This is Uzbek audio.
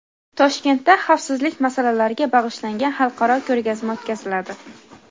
Toshkentda xavfsizlik masalalariga bag‘ishlangan xalqaro ko‘rgazma o‘tkaziladi.